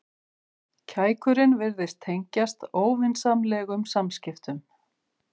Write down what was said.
Kækurinn virtist tengjast óvinsamlegum samskiptum.